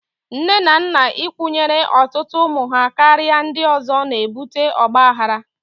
Nne na nna ịkwụnyere ọtụtụ ụmụ ha karịa ndị ọzọ na-ebute ọgbaghara.